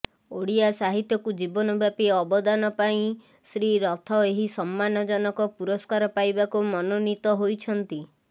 ଓଡ଼ିଆ ସାହିତ୍ୟକୁ ଜୀବନବ୍ୟାପୀ ଅବଦାନ ପାଇଁ ଶ୍ରୀ ରଥ ଏହି ସମ୍ମାନଜନକ ପୁରସ୍କାର ପାଇବାକୁ ମନୋନୀତ ହୋଇଛନ୍ତି